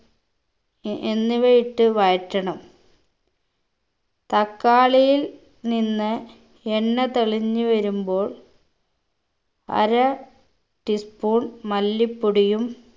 A എന്നിവയിട്ട് വഴറ്റണം തക്കാളിയിൽ നിന്ന് എണ്ണ തെളിഞ്ഞ് വരുമ്പോൾ അര tea spoon മല്ലിപ്പൊടിയും